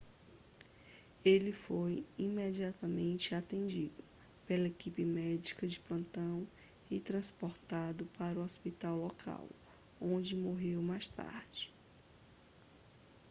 ele foi imediatamente atendido pela equipe médica de plantão e transportado para um hospital local onde morreu mais tarde